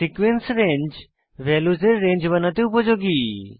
sequence range ভ্যালুসের range বানাতে উপযোগী